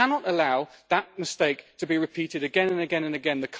We cannot allow that mistake to be repeated again and again and again.